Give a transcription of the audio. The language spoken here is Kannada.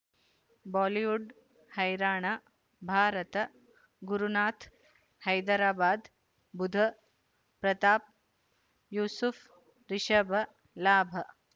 ಬಾಲಿವುಡ್ ಹೈರಾಣ ಭಾರತ ಗುರುನಾಥ ಹೈದರಾಬಾದ್ ಬುಧ್ ಪ್ರತಾಪ್ ಯೂಸುಫ್ ರಿಷಬ್ ಲಾಭ